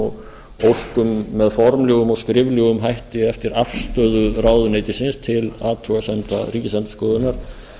og óskum með formlegum og skriflegum hætti eftir afstöðu ráðuneytisins til athugasemda ríkisendurskoðunar